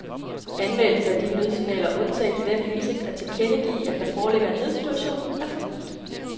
Anvendelse af de nødsignaler undtagen i den hensigt at tilkendegive, at der foreligger en nødsituation, er forbudt.